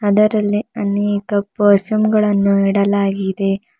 ಅದರಲ್ಲೇ ಅನೇಕ ಪರ್ಫ್ಯೂಮ್ ಗಳನ್ನು ಇಡಲಾಗಿದೆ.